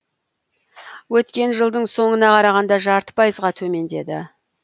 өткен жылдың соңына қарағанда жарты пайызға төмендеді